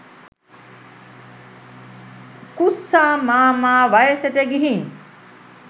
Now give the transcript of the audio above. උකුස්සා මාමා වයසට ගිහින්